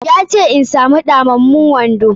Ya ce in samu ɗamammun wando.